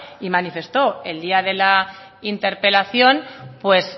y manifestó el día de la interpelación pues